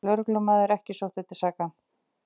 Lögreglumaður ekki sóttur til saka